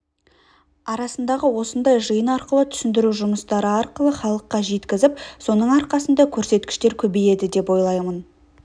арасындағы осындай жиын арқылы түсіндіру жұмыстары арқылы халыққа жеткізіп соның арқасында көрсеткіштер көбейеді деп ойлаймын